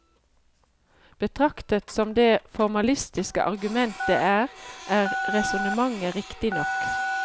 Betraktet som det formalistiske argument det er, er resonnementet riktig nok.